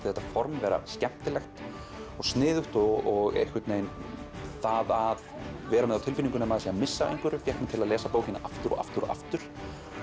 þetta form vera skemmtilegt og sniðugt og einhvernveginn það að vera með á tilfinningunni að maður sé að missa af einhverju fékk mig til að lesa bókina aftur og aftur og aftur